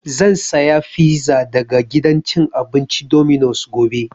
Zan saya fiza daga gidan cin abinci Dominos gobe